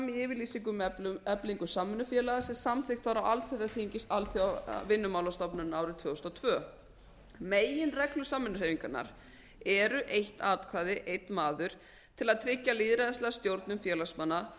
yfirlýsingu um eflingu samvinnufélaga sem samþykkt var af allsherjarþingi alþjóðavinnumálastofnunarinnar árið tvö þúsund og tvö meginreglur samvinnuhreyfingarinnar eru eitt atkvæði einn maður til að tryggja lýðræðislega stjórnun félagsmanna frjálsa